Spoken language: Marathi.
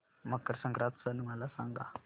मकर संक्रांत सण मला सांगा